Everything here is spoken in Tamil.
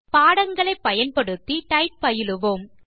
பாடங்களை பயன்படுத்தி டைப் பயிலுவோம்